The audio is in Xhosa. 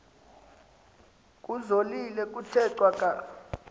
kuzolile kuthe cwaka